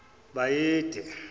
bayede